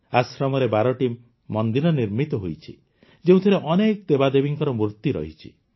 ଆଶ୍ରମରେ ୧୨ଟି ମନ୍ଦିର ନିର୍ମିତ ହୋଇଛି ଯେଉଁଥିରେ ଅନେକ ଦେବଦେବୀଙ୍କ ମୂର୍ତ୍ତି ରହିଛି